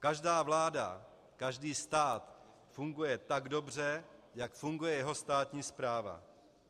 Každá vláda, každý stát funguje tak dobře, jak funguje jeho státní správa.